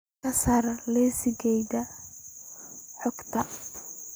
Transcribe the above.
ka saar liiska kaydka xogta